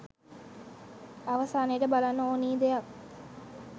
අවසානයට බලන්න ඕනි දෙයක්.